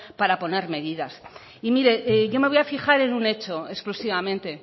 para poner medidas y mire yo me voy a fijar en un hecho exclusivamente